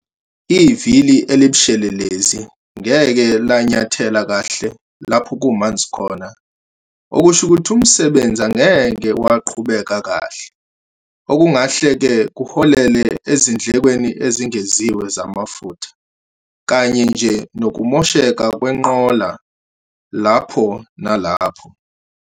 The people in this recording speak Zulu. Ivili elibushelelezi ngeke lanyathela kahle lapho kumanzi khona okusho ukuthi umsebenzi angeke waqhubeka kahle, okungahle-ke kuholele ezindlekweni ezengeziwe zamafutha kanye nje nokumosheka kwenqola lapho nalapho.